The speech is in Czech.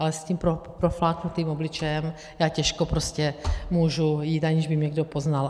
Ale s tím profláknutým obličejem já těžko prostě můžu jít, aniž by mě někdo poznal.